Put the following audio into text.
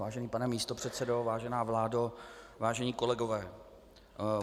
Vážený pane místopředsedo, vážená vládo, vážení kolegové.